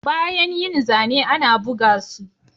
Bayan yin zane ana buga su